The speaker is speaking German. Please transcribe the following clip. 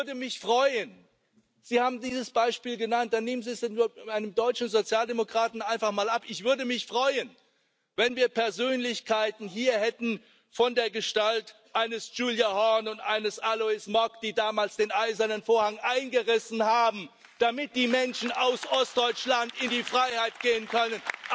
Ja, ich würde mich freuen Sie haben dieses Beispiel genannt, dann nehmen Sie es einem deutschen Sozialdemokraten einfach mal ab ich würde mich freuen, wenn wir Persönlichkeiten hier hätten von der Gestalt eines Gyula Horn und eines Alois Mock, die damals den Eisernen Vorhang eingerissen haben, damit die Menschen aus Ostdeutschland in die Freiheit gehen können.